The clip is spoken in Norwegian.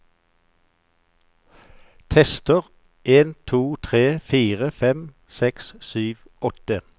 Tester en to tre fire fem seks sju åtte